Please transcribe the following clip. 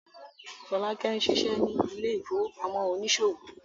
Folake ń ṣiṣẹ́ ní ilé ìfowópamọ́ oníṣòwò.